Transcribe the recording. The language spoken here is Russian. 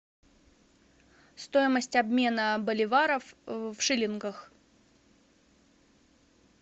стоимость обмена боливаров в шиллингах